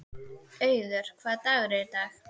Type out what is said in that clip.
Auður, hvaða dagur er í dag?